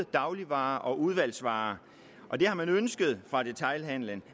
dagligvarer og udvalgsvarer det har de ønsket fra detailhandelens